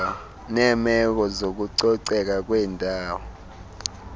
neemeko zokucoceka kwendawo